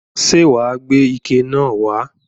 Ṣé wà á gbé ike náà wà á?